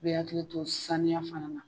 I b'i hakili to saniya fana na.